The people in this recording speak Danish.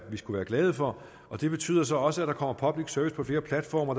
glade for det betyder så også at der kommer public service på flere platforme og